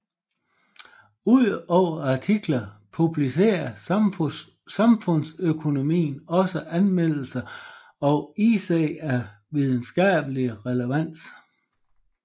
Udover artikler publicerer Samfundsøkonomen også anmeldelser og essays af videnskabelig relevans